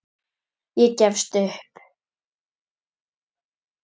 Ég gefst upp